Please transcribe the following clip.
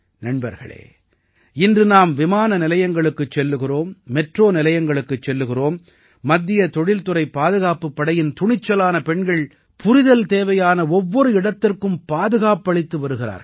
நண்பர்களே இன்று நாம் விமானநிலையங்களுக்குச் செல்கிறோம் மெட்ரோ நிலையங்களுக்குச் செல்கிறோம் மத்திய தொழில்துறை பாதுகாப்புப் படையின் துணிச்சலான பெண்கள் புரிதல் தேவையான ஒவ்வொரு இடத்திற்கும் பாதுகாப்பளித்து வருகிறார்கள்